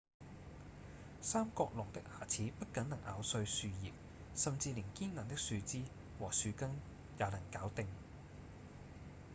三角龍的牙齒不僅能咬碎樹葉甚至連堅硬的樹枝和樹根也能搞定